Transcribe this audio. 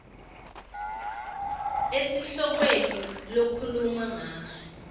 esihlokweni lokhuluma ngaso